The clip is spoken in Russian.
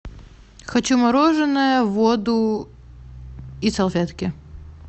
хочу мороженое воду и салфетки